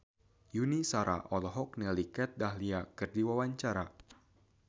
Yuni Shara olohok ningali Kat Dahlia keur diwawancara